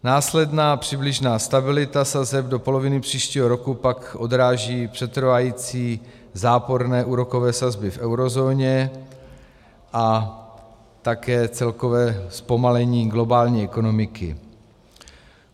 Následná přibližná stabilita sazeb do poloviny příštího roku pak odráží přetrvávající záporné úrokové sazby v eurozóně a také celkové zpomalení globální ekonomiky.